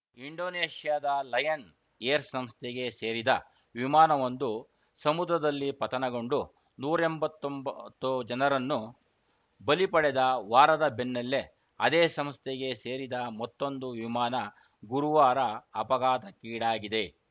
ಇಂಡೋನೇಷ್ಯಾದ Lion Air ಸಂಸ್ಥೆಗೆ ಸೇರಿದ ವಿಮಾನವೊಂದು ಸಮುದ್ರದಲ್ಲಿ ಪತನಗೊಂಡು ನೂರ್ ಎಂಬತ್ತೊಂಬತ್ತು ಜನರನ್ನು ಬಲಿ ಪಡೆದ ವಾರದ ಬೆನ್ನಲ್ಲೇ ಅದೇ ಸಂಸ್ಥೆಗೆ ಸೇರಿದ ಮತ್ತೊಂದು ವಿಮಾನ ಗುರುವಾರ ಅಪಘಾತಕ್ಕೀಡಾಗಿದೆ